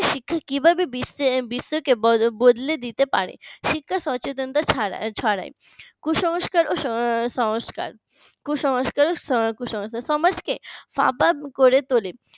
শিক্ষা কিভাবে বিশ্বকে বদলে দিতে পারে শিক্ষা সচেতনতা ছড়ায় কুসংস্কার সংস্কার কুসংস্কার সমাজকে করে তোলে